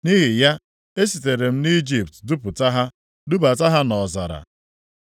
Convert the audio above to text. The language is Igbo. Nʼihi ya, esitere m nʼIjipt dupụta ha, dubata ha nʼọzara.